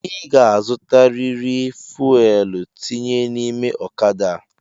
I ga-azutariri fuelu tinye n’ime ọ̣kada a!